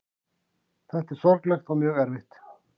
Þetta er sorglegt og mjög erfitt